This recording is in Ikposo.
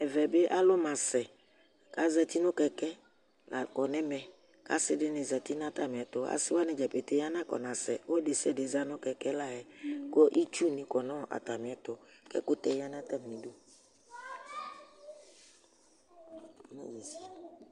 Ɛmɛ bɩ alʋ masɛ ka zati nʋ kɛkɛ la kɔ nɛmɛ; kasɩ dɩnɩ zati natamɩɛtʋAsɩ wanɩ dza pete anakɔnasɛ, ɔlʋ desɩade zati nʋ kɛkɛ la yɛ, kʋ itsu nɩ kɔ natamɩɛtʋ, kɛkʋtɛ ya natami du